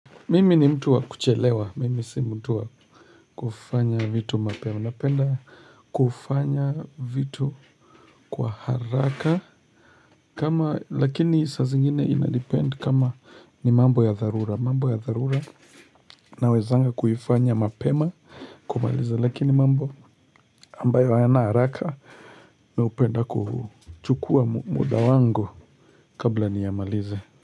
Mimi ni mtu wa kuchelewa. Mimi si mtu wa kufanya vitu mapema. Napenda kufanya vitu kwa haraka kama, lakini saa zingine ina depend kama ni mambo ya dharura. Mambo ya tharura. Nawezanga kuifanya mapema kumaliza lakini mambo ambayo hayana haraka. Napenda kuchukua muda wangu kabla niyamalize.